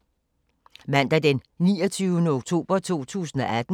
Mandag d. 29. oktober 2018